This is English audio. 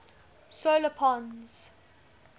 solar pons